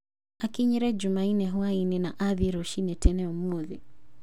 Akinyire Jumaine hũainĩ na athiĩ rũcinĩ tene ũmũthĩ.